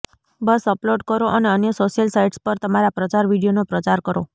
બસ upload કરો અને અન્ય સોશિયલ સાઈટ્સ પર તમારા પ્રચાર વીડિયોનો પ્રચાર કરો